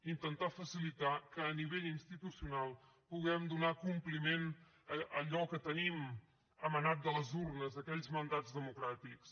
intentar facilitar que a nivell institucional puguem donar compliment a allò que tenim emanat de les urnes aquells mandats democràtics